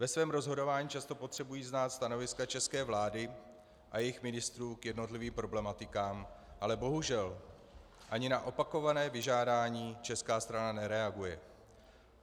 Ve svém rozhodování často potřebují znát stanoviska české vlády a jejích ministrů k jednotlivým problematikám, ale bohužel ani na opakované vyžádání česká strana nereaguje.